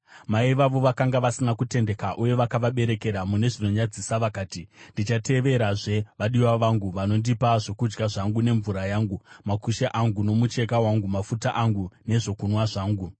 Mai vavo vakanga vasina kutendeka uye vakavaberekera mune zvinonyadzisa. Vakati, ‘Ndichateverazve vadiwa vangu, vanondipa zvokudya zvangu nemvura yangu, makushe angu nomucheka wangu, mafuta angu nezvokunwa zvangu.’